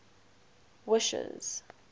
wishes